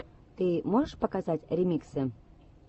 ты можешь показать ремиксы